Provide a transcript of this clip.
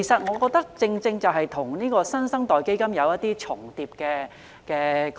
我覺得這與"新生代基金"的概念有重疊的地方。